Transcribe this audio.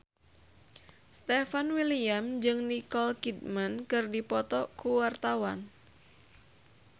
Stefan William jeung Nicole Kidman keur dipoto ku wartawan